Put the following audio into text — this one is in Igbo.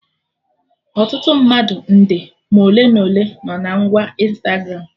Ọtụtụ mmadụ nde ma ole ma ole no na ngwa Ịnstagramụ